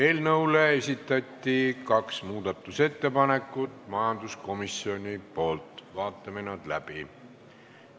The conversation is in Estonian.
Eelnõu kohta esitas majanduskomisjon kaks muudatusettepanekut, vaatame nad läbi.